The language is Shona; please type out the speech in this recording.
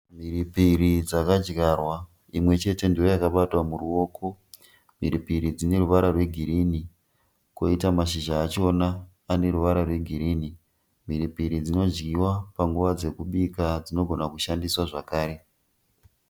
Mhiripiri dzakadyarwa imwe chete ndiyo yakabatwa muruoko. Mhiripiri dzine ruvara rwegiirinhi koita mashizha achona ane ruvara rwegirinhi. Mhiripiri dzinodzidyiwa panguva dzekubika dzinogona kushandiswa zvakare.